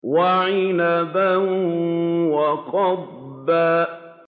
وَعِنَبًا وَقَضْبًا